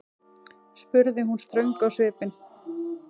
spurði hún ströng á svipinn.